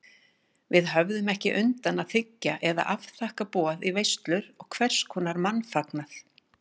Við höfðum ekki undan að þiggja eða afþakka boð í veislur og hverskonar mannfagnað.